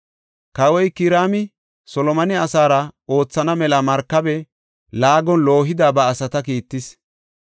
Kawoy Kiraami Solomone asaara oothana mela markabe laagon loohida ba asata kiittis.